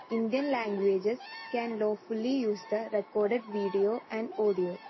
speaker 2 Indian languages can lawfully use the recorded video and audio